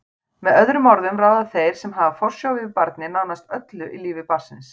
Með öðrum orðum ráða þeir sem hafa forsjá yfir barni nánast öllu í lífi barnsins.